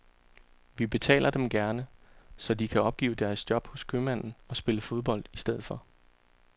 Vi betaler dem gerne, så de kan opgive deres job hos købmanden og spille fodbold i stedet for.